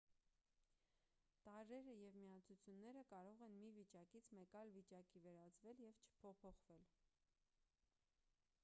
տարրերը և միացությունները կարող են մի վիճակից մեկ այլ վիճակի վերածվել և չփոփոխվել